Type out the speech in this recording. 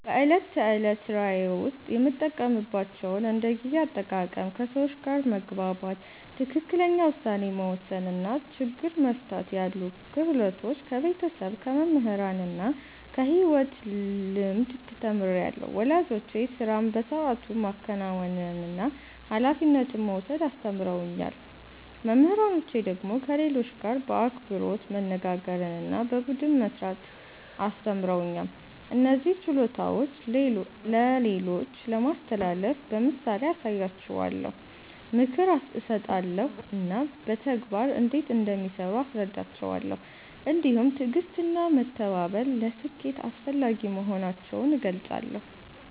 በዕለት ተዕለት ሥራዬ ውስጥ የምጠቀምባቸውን እንደ ጊዜ አጠቃቀም፣ ከሰዎች ጋር መግባባት፣ ትክክለኛ ውሳኔ መወሰን እና ችግር መፍታት ያሉ ክህሎቶች ከቤተሰብ፣ ከመምህራን እና ከሕይወት ልምድ ተምሬአለሁ። ወላጆቼ ሥራን በሰዓቱ ማከናወንና ኃላፊነት መውሰድ አስተምረውኛል። መምህራኖቼ ደግሞ ከሌሎች ጋር በአክብሮት መነጋገርና በቡድን መሥራት አስተምረውኛል። እነዚህን ችሎታዎች ለሌሎች ለማስተላለፍ በምሳሌ አሳያቸዋለሁ፣ ምክር እሰጣለሁ እና በተግባር እንዴት እንደሚሠሩ አስረዳቸዋለሁ። እንዲሁም ትዕግሥትና መተባበር ለስኬት አስፈላጊ መሆናቸውን እገልጻለሁ።